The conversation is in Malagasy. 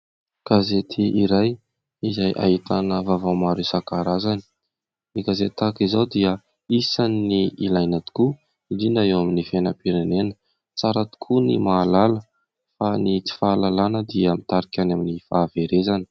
Gazety iray izay ahitana vaovao maro isankarazany. Ny gazety tahaka izao dia isan'ny ilaina tokoa, indrindra eo amin'ny fiainam-pirenena. Tsara tokoa ny mahalala fa ny tsy fahalalàna dia mitarika any amin'ny fahaverezana.